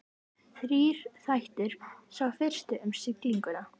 Þrír þættir, sá fyrsti um siglinguna.